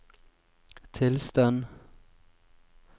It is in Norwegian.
tilstand